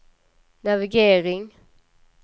navigering